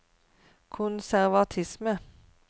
konservatisme